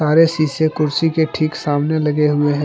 और ये शीशे कुर्सी के ठीक सामने लगे हुए है।